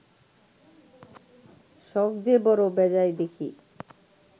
সখ যে বড় বেজায় দেখি